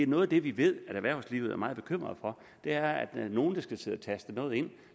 noget af det vi ved erhvervslivet er meget bekymret for er at der er nogle der skal sidde og taste noget ind